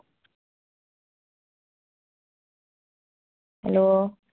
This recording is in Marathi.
hello